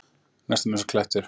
Næstum einsog klettur.